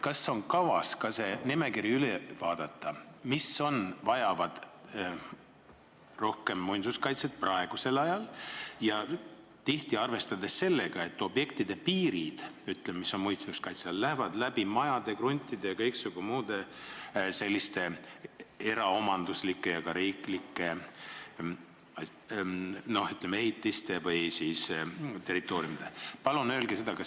Kas on kavas ka see nimekiri üle vaadata, et näha, mis asjad vajavad praegusel ajal rohkem muinsuskaitset, arvestades sellega, et muinsuskaitse all olevate objektide piirid lähevad läbi majade, kruntide ja kõiksugu muude selliste eraomanduslike ja ka riiklike, ütleme, ehitiste või territooriumide?